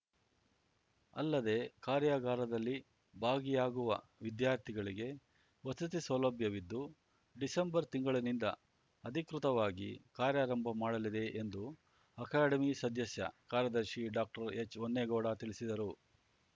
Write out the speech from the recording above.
ಅಲ್ಲದೆ ಕಾರ್ಯಾಗಾರದಲ್ಲಿ ಭಾಗಿಯಾಗುವ ವಿದ್ಯಾರ್ಥಿಗಳಿಗೆ ವಸತಿ ಸೌಲಭ್ಯವಿದ್ದು ಡಿಸೆಂಬರ್ ತಿಂಗಳಿನಿಂದ ಅಧಿಕೃತವಾಗಿ ಕಾರ್ಯಾರಂಭ ಮಾಡಲಿದೆ ಎಂದು ಅಕಾಡೆಮಿ ಸದಸ್ಯ ಕಾರ್ಯದರ್ಶಿ ಡಾಕ್ಟರ್ಎಚ್‌ಹೊನ್ನೇಗೌಡ ತಿಳಿಸಿದರು